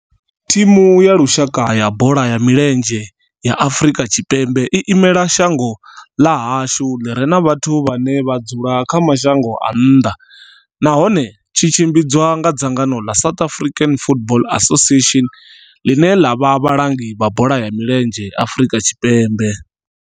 Thimu ya lushaka ya bola ya milenzhe ya Afrika Tshipembe i imela shango ḽa hashu ḽi re na vhathu vhane vha dzula kha mashango a nnḓa nahone tshi tshimbidzwa nga dzangano la South African Football Association, line la vha vhalangi vha bola ya milenzhe Afrika Tshipembe.